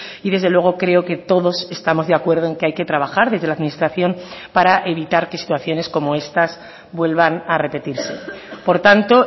y desde luego creo que todos estamos de acuerdo en que hay que trabajar desde la administración para evitar que situaciones como estas vuelvan a repetirse por tanto